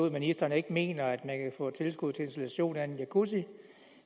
at ministeren ikke mener at man kan få tilskud til installation af en jacuzzi